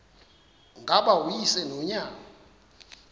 ngaba uyise nonyana